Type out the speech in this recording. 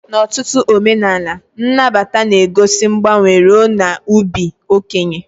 N'ọtụtụ omenala, nnabata na-egosi mgbanwe ruo n'ịbụ okenye.